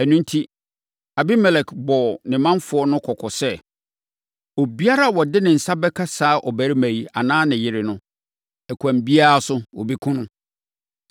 Ɛno enti, Abimelek bɔɔ ne manfoɔ no kɔkɔ sɛ, “Obiara a ɔde ne nsa bɛka saa ɔbarima yi, anaa ne yere no, ɛkwan biara so, wɔbɛkum no.”